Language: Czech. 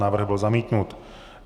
Návrh byl zamítnut.